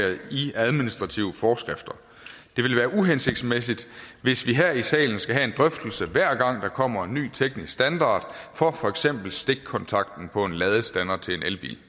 i administrative forskrifter det ville være uhensigtsmæssigt hvis vi her i salen skal have en drøftelse hver gang der kommer en ny teknisk standard for for eksempel stikkontakten på en ladestander til en elbil det